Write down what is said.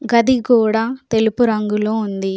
గది గోడా తెలుపు రంగులో ఉంది.